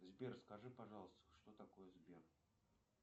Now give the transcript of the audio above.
сбер скажи пожалуйста что такое сбер